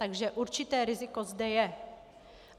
Takže určité riziko zde je.